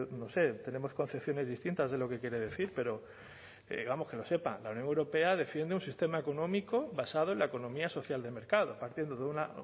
no sé tenemos concepciones distintas de lo que quiere decir pero vamos que lo sepan la unión europea defiende un sistema económico basado en la economía social de mercado partiendo de una